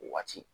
O waati